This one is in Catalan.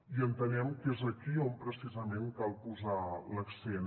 i entenem que és aquí on precisament cal posar l’accent